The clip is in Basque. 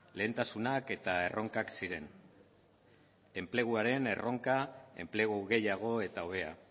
lehentasunak eta erronkak ziren enpleguaren erronka enplegu gehiago eta hobea